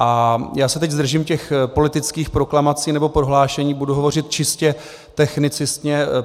A já se teď zdržím těch politických proklamací nebo prohlášení, budu hovořit čistě technicistně.